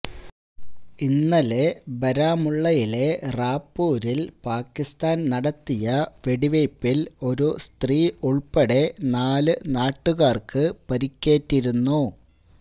ഇന്നലെ ബാരാമുള്ളയിലെ റാപൂരില് പാകിസ്ഥാന് നടത്തിയ വെടിവയ്പില് ഒരു സ്ത്രീ ഉള്പ്പടെ നാലു നാട്ടുകാര്ക്ക് പരിക്കേറ്റിരുന്നു